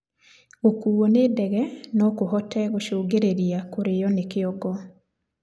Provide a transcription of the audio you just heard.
Gukuo ni ndege nokuhote gũcũngĩrĩrĩa kurio ni kĩongo